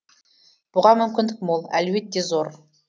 бұған мүмкіндік мол әлеует те зор